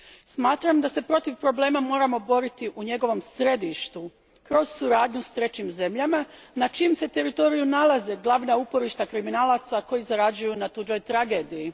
Smatram da se protiv problema moramo boriti u njegovom središtu kroz suradnju s trećim zemljama na čijem se teritoriju nalaze glavna uporišta kriminalaca koji zarađuju na tuđoj tragediji.